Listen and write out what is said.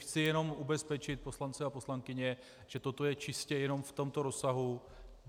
Chci jenom ubezpečit poslance a poslankyně, že toto je čistě jenom v tomto rozsahu.